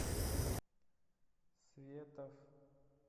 светов